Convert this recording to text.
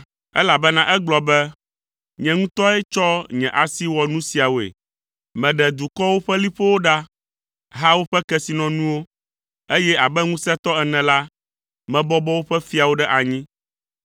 Elabena egblɔ be, “ ‘Nye ŋutɔe tsɔ nye asi wɔ nu siawoe. Meɖe dukɔwo ƒe liƒowo ɖa, ha woƒe kesinɔnuwo, eye abe ŋusẽtɔ ene la, mebɔbɔ woƒe fiawo ɖe anyi.